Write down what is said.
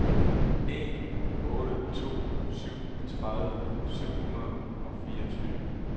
en otte to syv tredive syv hundrede og fireogtyve